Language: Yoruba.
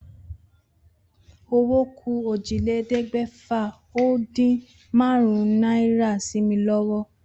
Owó ku ójìlélégbèfà-o-din-márún-ún náírà sí mi lówó